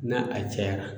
Na a cayara